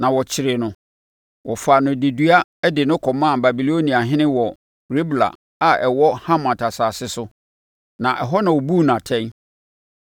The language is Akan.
na wɔkyeree no. Wɔfaa no dedua de no kɔmaa Babiloniahene wɔ Ribla a ɛwɔ Hamat asase so, na ɛhɔ na ɔbuu no atɛn.